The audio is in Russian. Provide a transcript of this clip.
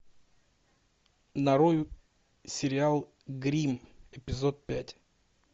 нарой сериал гримм эпизод пять